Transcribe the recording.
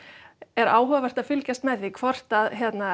er áhugavert að fylgjast með því hvort að